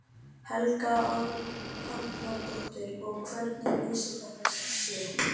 Helga Arnardóttir: Og hvernig lýsir þetta sér?